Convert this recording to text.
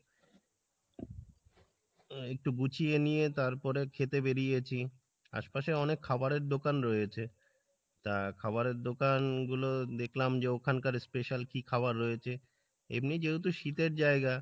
আহ একটু গুছিয়ে নিয়ে তারপরে খেতে বেড়িয়েছি আশপাশে অনেক খাবারের দোকান রয়েছে তা খাবারের দোকান গুলো দেখলাম যে ওখানকার special কী খাওয়ার রয়েছে এমনই যেহেতু শীতের জায়গা